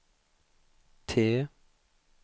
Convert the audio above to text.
T